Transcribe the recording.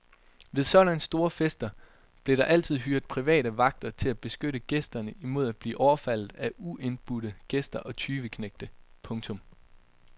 Ved sådanne store fester blev der altid hyret private vagter til at beskytte gæsterne imod at blive overfaldet af uindbudte gæster og tyveknægte. punktum